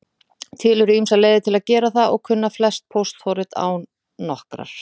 Til eru ýmsar leiðir til að gera það og kunna flest póstforrit á nokkrar.